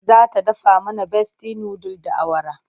Za ta dafa mana Besti nudul da awara.